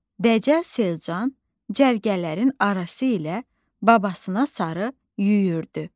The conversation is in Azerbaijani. Dəcəl Selcan cərgələrin arası ilə babasına sarı yüyürdü.